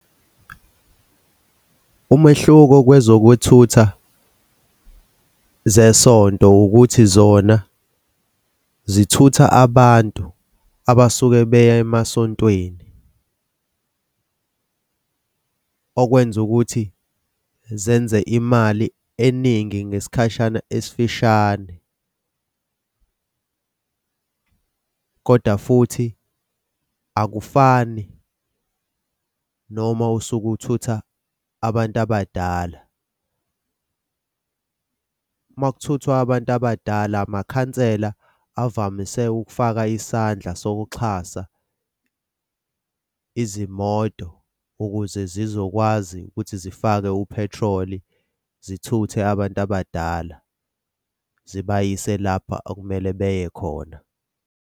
Umehluko kwezokuthutha zesonto ukuthi zona zithutha abantu abasuke beya emasontweni okwenza ukuthi zenze imali eningi ngesikhashana esifishane. Kodwa futhi akufani noma usuke uthutha abantu abadala. Makuthuthwa abantu abadala, amakhansela avamise ukufaka isandla sokuxhasa izimoto ukuze zizokwazi ukuthi zifake uphethroli zithuthe abantu abadala zibayise lapha okumele beye khona.